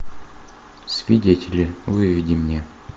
свидетели выведи мне